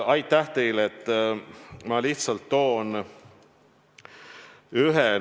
Aitäh teile!